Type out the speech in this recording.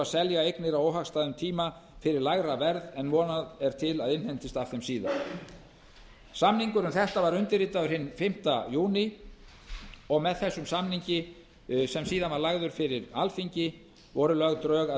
selja eignir á óhagstæðum tíma fyrir lægra verð en von er til að innheimtist af þeim síðar samningur um þetta var undirritaður hinn fimmti júní og með þessum samningi sem síðar var lagður fyrir alþingi voru lögð drög að